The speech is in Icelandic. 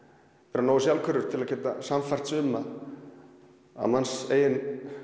vera nógu sjálfhverfur til að geta sannfært suma um að manns eigin